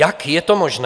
Jak je to možné?